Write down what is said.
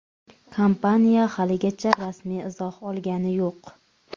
Kompaniya haligacha rasmiy izoh olgani yo‘q.